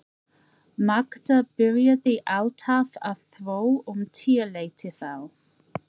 Magda byrjaði alltaf að þvo um tíuleytið á